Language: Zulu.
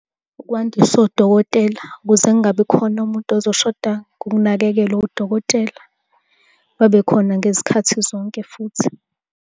Ukwandisa odokotela ukuze kungabi khona umuntu ozoshoda ukunakekelwa udokotela. Babe khona ngezikhathi zonke futhi.